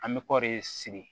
An bɛ kɔri sigi